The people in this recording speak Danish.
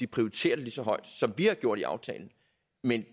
prioriterer det lige så højt som vi har gjort i aftalen men